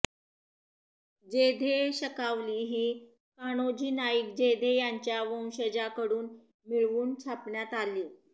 जेधे शकावली ही कान्होजी नाईक जेधे यांच्या वंशजांकडून मिळवून छापण्यात आली